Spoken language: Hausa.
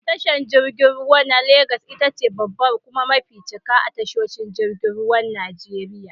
Tashar jirgin ruwa na lagas itace babbar kuma mafi cika a tashoshin jirgin ruwan Najeriya.